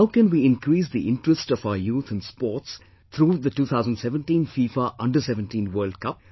How can we increase the interest of our youth in sports through the 2017 FIFA under17 World Cup